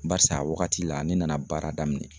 Barisa a wagati la ne nana baara daminɛ